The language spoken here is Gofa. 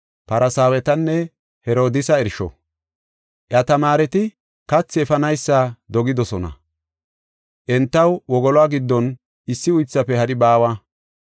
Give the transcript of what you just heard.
Iya tamaareti kathi efanaysa dogidosona; entaw wogoluwa giddon issi uythaafe hari baawa.